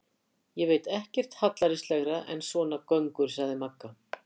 Ég veit ekkert hallærislegra en svona göngur, sagði Magga.